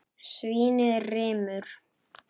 Svínið rymur.